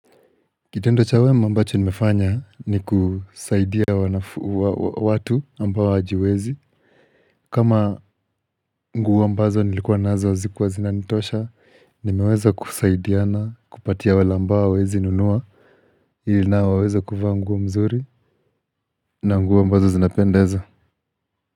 Kitendo cha wema ambacho nimefanya ni kusaidia watu ambao hawajiwezi kama nguo ambazo nilikuwa nazo hazikuwa zinanitosha. Nimeweza kusaidiana kupatia wale ambao hawezi nunua ili nao waweze kuvaa nguo mzuri na nguo ambazo zinapendeza.